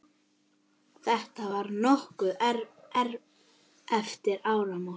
Þetta var nokkru eftir áramót.